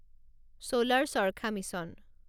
ছোলাৰ charkha mission